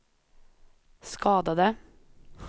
skadade